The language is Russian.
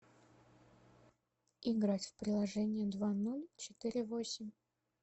играть в приложение два ноль четыре восемь